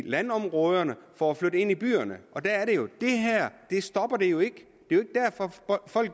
landområderne for at flytte ind i byerne og det her stopper det jo ikke